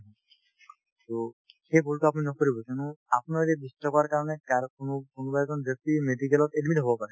to সেই ভূলটো আপুনি নকৰিব কিয়নো আপোনাৰ এই যে বিশ টকাৰ কাৰণে কাৰ কোনো কোনোবা এজন ব্যক্তি medical ত admit হব পাৰে